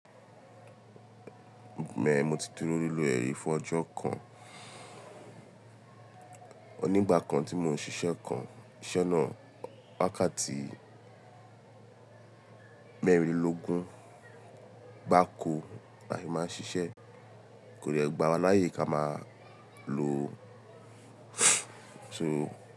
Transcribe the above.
Mẹ́, mo ti dúró nílùú e ri fún ọjọ́ kan. Ònígbà kan tí mò ń ṣiṣẹ́ kan, iṣẹ́ náà wákàtí mẹ́rìnlógún, gbáko àyè máa ṣiṣẹ́, kò d3 gbàwá láyè ká máa lo.